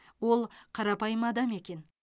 ол қарапайым адам екен